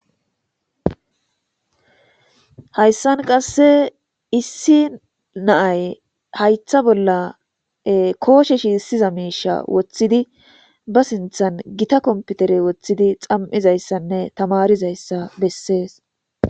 Hayssan qasse issi naay haytha bolla kooshe shi issiza meesha woththidi ba sinthan gita komputere woththidi xam'izayssanne tamarizayssa bessees